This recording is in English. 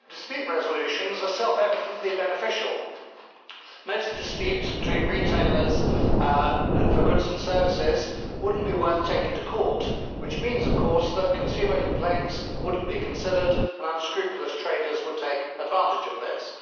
Madam President, dispute resolutions are self evidently beneficial. Most disputes with retailers over goods and services would not be worth taking to court, which means, of course, that consumer complaints would not be considered and unscrupulous traders would take advantage of this.